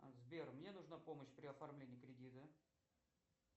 сбер мне нужна помощь при оформлении кредита